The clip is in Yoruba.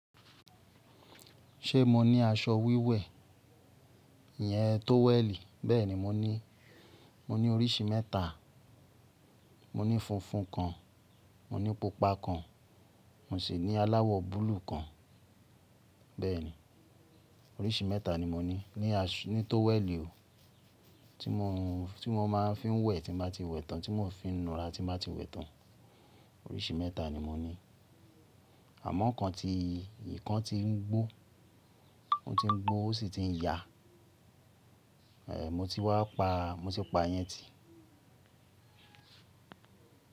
Ṣe mo ni aṣọ wíwẹ̀, iyẹn tówẹ̀lì? Bẹ́ẹ̀ni, mo ni, mo ní oríṣi mẹ́ta. Mo ní funfun kan, mo ní pupa kan, mo sì ní aláwọ̀ búlúù kan. Bẹ́ẹ̀ni, oríṣi mẹ́ta ni mo ní. Ni tówẹ̀lì o, tí mo má ń fi ń wẹ̀ tí n ba ti wẹ̀ tán, tí mo fi ń n'ura tí n ba ti wẹ̀ tán. Oríṣi mẹ́ta ni mo ní. Àmọ́ ọ̀kan ti ìkan ti ń gbó, ó sì ti ń ya. Mo ti wáa pa, mo ti pa yẹn ti.